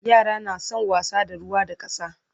yara na San wasa da ruwa da ƙasa